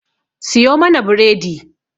Siyo mana bredi.